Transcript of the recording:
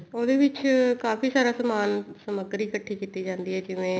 ਉਹਦੇ ਵਿੱਚ ਕਾਫੀ ਸਾਰਾ ਸਮਾਨ ਸਮੱਗਰੀ ਇੱਕਠੀ ਕੀਤੀ ਜਾਂਦੀ ਹੈ ਜਿਵੇਂ